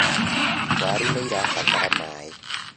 waru nĩirabatara maĩ